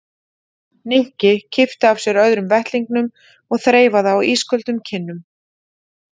Nikki kippti af sér öðrum vettlingnum og þreifaði á ísköldum kinnum